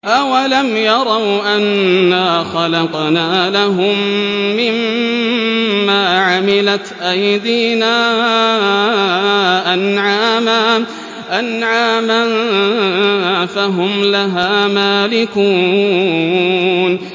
أَوَلَمْ يَرَوْا أَنَّا خَلَقْنَا لَهُم مِّمَّا عَمِلَتْ أَيْدِينَا أَنْعَامًا فَهُمْ لَهَا مَالِكُونَ